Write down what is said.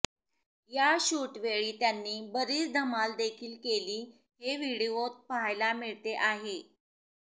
या शूटवेळी त्यांनी बरीच धमाल देखील केली हे व्हिडिओत पाहायला मिळते आहे